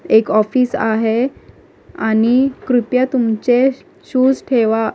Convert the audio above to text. एक ऑफिस आहे आणि कृपया तुमचे शूज ठेवा.